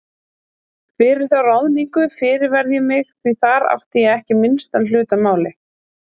Fyrir þá ráðningu fyrirverð ég mig því þar átti ég ekki minnstan hlut að máli.